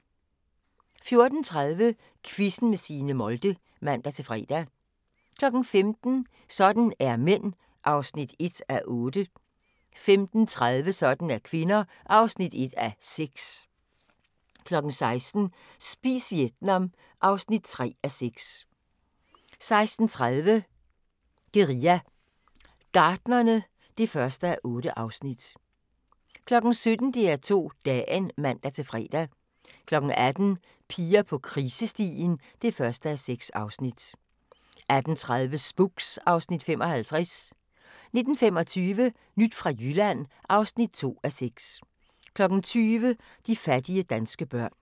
14:30: Quizzen med Signe Molde (man-fre) 15:00: Sådan er mænd (1:8) 15:30: Sådan er kvinder (1:6) 16:00: Spis Vietnam (3:6) 16:30: Guerilla Gartnerne (1:8) 17:00: DR2 Dagen (man-fre) 18:00: Piger på krisestien (1:6) 18:30: Spooks (Afs. 55) 19:25: Nyt fra Jylland (2:6) 20:00: De fattige danske børn